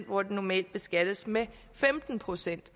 hvor den normalt beskattes med femten procent